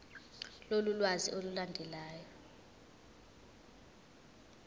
lolu lwazi olulandelayo